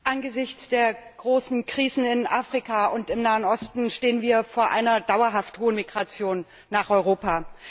Angesichts der großen Krisen in Afrika und im Nahen Osten stehen wir vor einer dauerhaft hohen Migration nach Europa.